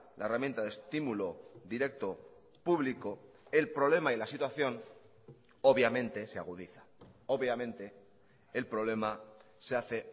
la herramienta de estímulo directo público el problema y la situación obviamente se agudiza obviamente el problema se hace